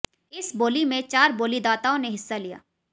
इस बोली में चार बोलीदाताओं ने हिस्सा लिया